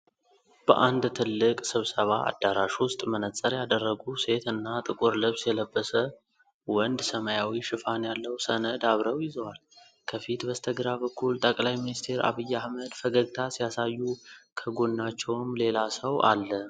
በአንድ ትልቅ ስብሰባ አዳራሽ ውስጥ፣ መነፅር ያደረጉ ሴትና ጥቁር ልብስ የለበሰ ወንድ ሰማያዊ ሽፋን ያለው ሰነድ አብረው ይዘዋል። ከፊት በስተግራ በኩል ጠቅላይ ሚኒስትር ዐቢይ አህመድ ፈገግታ ሲያሳዩ፣ ከጎናቸውም ሌላ ሰው አለ።